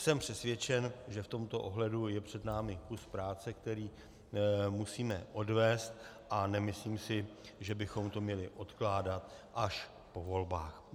Jsem přesvědčen, že v tomto ohledu je před námi kus práce, který musíme odvést a nemyslím si, že bychom to měli odkládat až po volbách.